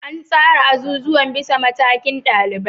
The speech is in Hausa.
An tsara azuzuwa bisa matakin ɗalibai